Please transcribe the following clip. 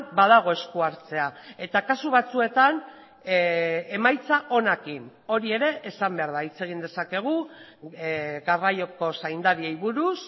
badago esku hartzea eta kasu batzuetan emaitza onekin hori ere esan behar da hitz egin dezakegu garraioko zaindariei buruz